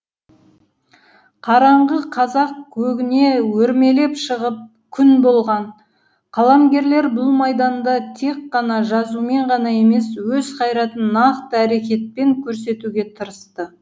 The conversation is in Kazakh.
қараңғы қазақ көгіне өрмелеп шығып күн болған қаламгерлер бұл майданда тек қана жазумен ғана емес өз қайратын нақты әрекетпен көрсетуге тырысты